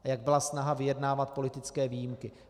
A jak byla snaha vyjednávat politické výjimky.